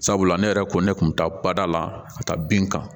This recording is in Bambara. Sabula ne yɛrɛ ko ne kun bɛ taa bada la ka taa bin kan